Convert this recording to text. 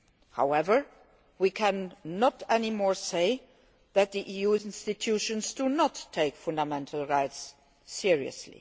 However, we can no longer say that the EU institutions do not take fundamental rights seriously.